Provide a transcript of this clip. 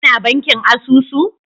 Ka na bankin asusu?